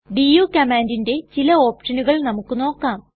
do കമ്മാൻണ്ടിന്റെ ചില ഓപ്ഷനുകൾ നമുക്ക് നോക്കാം